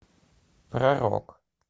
про рок